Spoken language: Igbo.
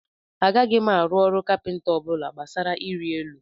Agaghị m arụ ọrụ kapịnta ọ bụla gbasara iri elu